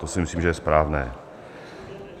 To si myslím, že je správné.